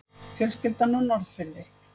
Fjölskyldan á Norðfirði.